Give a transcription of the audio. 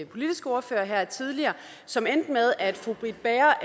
politiske ordfører her tidligere som endte med at fru britt bager